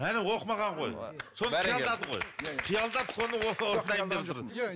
әне оқымаған ғой соны қиялдады ғой қиялдап соны дайындап жүр